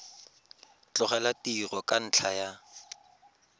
tlogela tiro ka ntlha ya